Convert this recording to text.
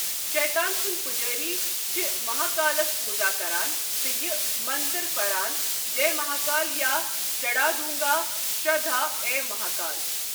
شیطان سندی پجاری چھےٚ مہاکالس پوزا کران تہٕ یہِ منتر پران جے مہاکال یا چڑھ وادونگا شردھا اے مہاکال۔